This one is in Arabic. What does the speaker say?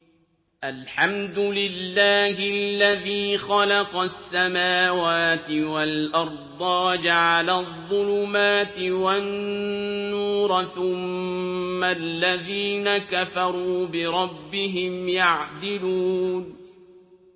الْحَمْدُ لِلَّهِ الَّذِي خَلَقَ السَّمَاوَاتِ وَالْأَرْضَ وَجَعَلَ الظُّلُمَاتِ وَالنُّورَ ۖ ثُمَّ الَّذِينَ كَفَرُوا بِرَبِّهِمْ يَعْدِلُونَ